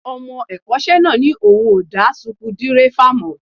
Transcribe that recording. Ọmọ ẹ̀kọ́ṣẹ́ náà ní òun ò dá suku dírẹ́fà mọ̀